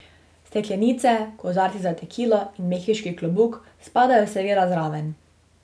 Steklenice, kozarci za tekilo in mehiški klobuk spadajo seveda zraven.